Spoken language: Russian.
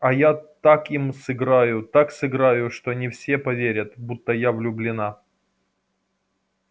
а я так им сыграю так сыграю что они все поверят будто я влюблена